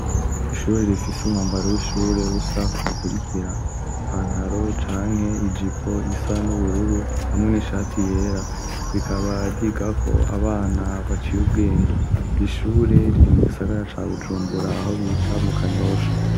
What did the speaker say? Ishure rifise umwambaro w'ishure usa ukurikira ipantaro canke ijipo isa n'ubururu hamwe n'ishati yera rikaba ryigako abana baciye ubwenge, iri shure riri mu gisagara ca Bujumbura aho bita mu Kanyosha.